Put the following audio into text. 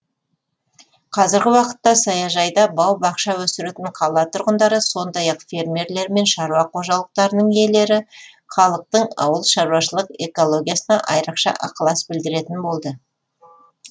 қазіргі уақытта саяжайда бау бақша өсіретін қала тұрғындары сондай ақ фермерлер мен шаруа қожалықтарының иелері халықтың ауылшаруашылық экологиясына айрықша ықылас білдіретін болды